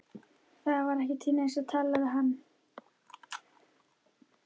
Það var ekki til neins að tala við hann.